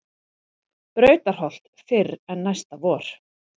Brautarholt fyrr en næsta vor.